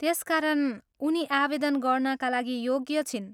त्यसकारण, उनी आवेदन गर्नाका लागि योग्य छिन्।